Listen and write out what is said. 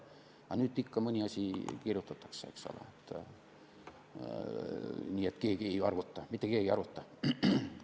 Aga nüüd ikka mõni asi kirjutatakse sisse, eks ole, nii et keegi ei arvuta, mitte keegi ei arvuta.